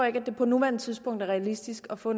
ikke at det på nuværende tidspunkt er realistisk at få